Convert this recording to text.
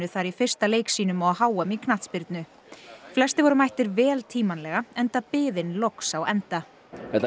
þar í fyrsta leik sínum á h m í knattspyrnu flestir voru mættir vel tímanlega enda biðin loks á enda þetta